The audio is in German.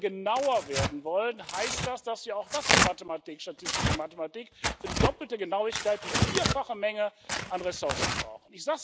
Und wenn wir genauer werden wollen, heißt das, dass ja, auch das ist Mathematik, statistische Mathematik wir für die doppelte Genauigkeit die vierfache Menge an Ressourcen brauchen.